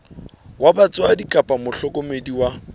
wa batswadi kapa mohlokomedi wa